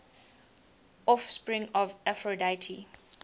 offspring of aphrodite